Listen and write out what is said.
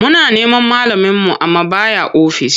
Muna neman malaminmu amma ba ya ofis.